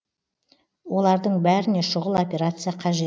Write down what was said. олардың бәріне шұғыл операция қажет